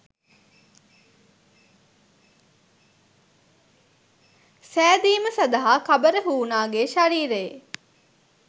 සෑදීම සදහා කබර හූනාගේ ශරීරයේ